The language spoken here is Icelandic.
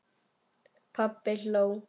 Pabbi hló.